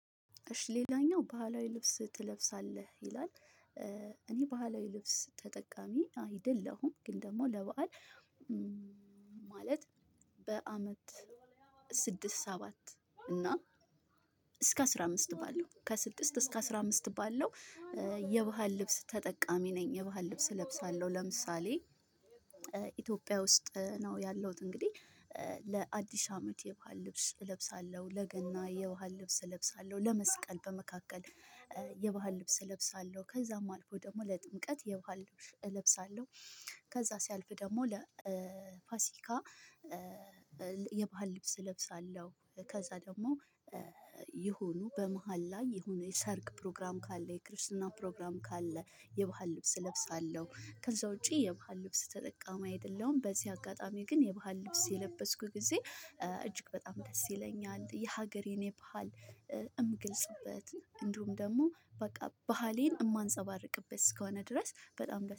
እሽ ሌላኛው ባህላዊ ልብስ ትለብሳለህ ይላል? እኔ ባህላዊ ልብስ ተጠቃሚ አይደለሁም ግን ደግሞ ለበአል ማለት በአመት ስድስት ሰባት እና እስከ አስራ አምስት ባለው ከስድስት እስከ አስራ አምስት ባለው። የባህል ልብስ ተጠቃሚ ነኝ የባህል ልብስ እለብሳለሁ። ለምሳሌ ኢትዮጵያ ውስጥ ነው ያለሁት እንግዲህ ለአዲስ አመት የባህል ልብስ እለብሳለሁ። ለገና የባህል ልብስ እለብሳለሁ ለመስቀል በመካከል የባህል ልብስ እለብሳለሁ ከዛም አልፎ ደግሞ ለጥምቀት የባህል ልብስ እለብሳለሁ። ከዛ ሲያልፍ ደግሞ ለፋሲካ የባህል ልብስ እለብሳለሁ። ከዛ ደግሞ የሆኑ በመሃል ላይ የሆነ የሰርግ ፕሮግራም ካለ የክርስትና ፕሮግራም ካለ የባህል ልብስ እለብሳለሁ። ከዛ ውጪ የባህል ልብስ ተጠቃሚ አይደለሁም። በዚህ አጋጣሚ ግን የባህል ልብስ የለበስኩ ጊዜ እጅግ በጣም ደስ ይለኛል የሀገሬን የባህል እምገልጽበት እንዲሁም ደግሞ በቃ ባህሌን እማጸባርቅበት እስከሆነ ድረስ በጣም